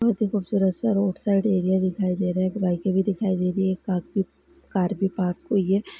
बहुत ही खूबसूरत सा रोड साईड एरिया दिखाई दे रहा है एक बाइक भी दिखाई दे रही है काफी कार भी पार्क कोई है।